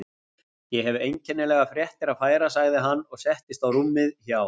Ég hef einkennilegar fréttir að færa sagði hann og settist á rúmið hjá